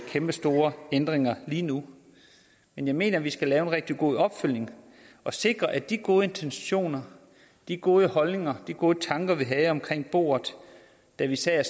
kæmpestore ændringer lige nu men jeg mener at vi skal lave en rigtig god opfølgning og sikre at de gode intentioner de gode holdninger de gode tanker vi havde omkring bordet da vi sad